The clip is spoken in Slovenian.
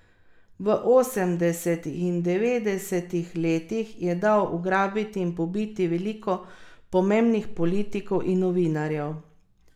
V osemdesetih in devetdesetih letih je dal ugrabiti in pobiti veliko pomembnih politikov in novinarjev.